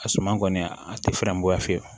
A suma kɔni a tɛ fɛɛrɛ bɔ ya fiyewu